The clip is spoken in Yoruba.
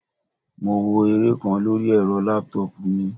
Mo wo eré kan lóri ẹ́rọ laptop mi.